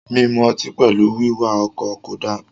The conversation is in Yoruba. Minu ọtí pẹlú wiwà ọkọ ko da..